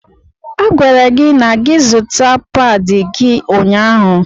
A gwara gị na gị zuta páadi gị ụnyaahụ.